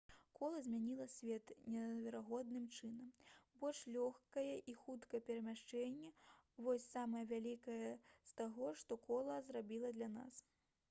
кола змяніла свет неверагодным чынам больш лёгкае і хуткае перамяшчэнне вось самае вялікае з таго што кола зрабіла для нас